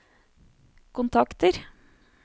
kontakter